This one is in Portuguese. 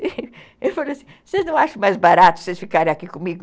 Eu falei assim, vocês não acham mais barato vocês ficarem aqui comigo?